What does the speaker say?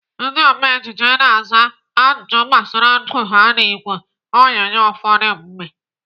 Ndị ome ejije na-aza ajụjụ gbasara ndụ ha n'ìgwè onyonyo ụfọdụ mgbe.